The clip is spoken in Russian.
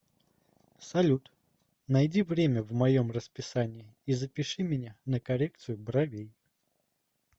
салют найди время в моем расписании и запиши меня на коррекцию бровей